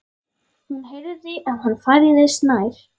Hún heyrði að hann færðist nær.